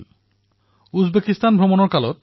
তেওঁ উজবেকিস্তানতো পূজনীয়